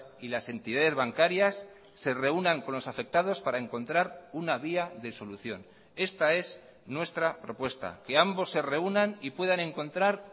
y las entidades bancarias se reúnan con los afectados para encontrar una vía de solución esta es nuestra propuesta que ambos se reúnan y puedan encontrar